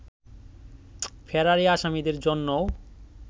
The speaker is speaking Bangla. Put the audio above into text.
ফেরারি আসামিদের জন্যও